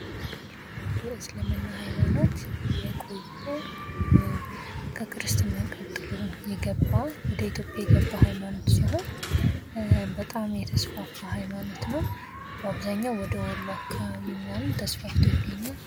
የእስልምና ሃይማኖት የቆየ ከክርስትና ቀጥሎ የገባው ወደ ኢትዮጵያ የገባ ሃይማኖት ሲሆን በጣም የተስፋ ሃይማኖት ነው። በአብዛኛው ወደ ወሎ አካባቢ ምናምን ተስፋፍቶ ይገኛል።